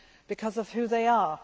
because of who they are.